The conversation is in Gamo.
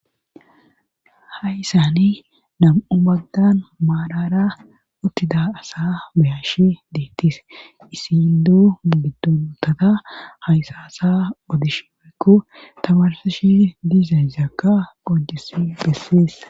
hayssani nam7u bagdan maadara uttida asa bayashi deettis isi idu bidonotata haysaasa odish oykku tamarsashi diiza zakka ojes besseessa